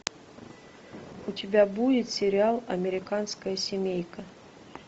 у тебя будет сериал американская семейка